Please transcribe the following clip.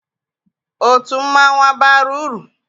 Otu mmanwụ abara uru?